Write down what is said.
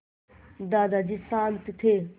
दादाजी शान्त थे